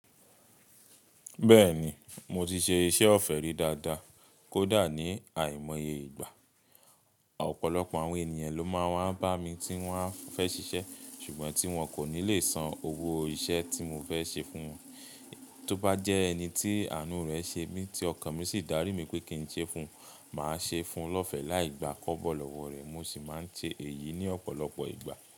Bẹ́ẹ̀ni, mo ti ṣe iṣẹ́ ọ̀fẹ́ rí dáadáa, kódà ní àìmọye ìgbà. Ọ̀pọ̀lọpọ̀ àwọn ènìyàn ló máa ń wa bá mi tí wón a fẹ́ ṣiṣẹ́ ṣùgbọ́n tí wọn kò ní lè san owó o iṣẹ́ tí mo fẹ́ ṣe fún wọn. Tóbá jẹ́ ẹni tí àánú rẹ̀ ṣe mí tí ọkàn mi sì dárí mi pé kí n ṣe fún, màá ṣe fún lọ́fẹ̀ẹ́ láì gba kóbọ̀ lọ́wọ́ rẹ̀. Mo sì máa ń ṣe èyí ní ọ̀pọ̀lọpọ̀ ìgbà.